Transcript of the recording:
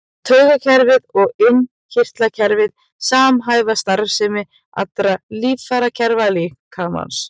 Taugakerfið og innkirtlakerfið samhæfa starfsemi allra líffærakerfa líkamans.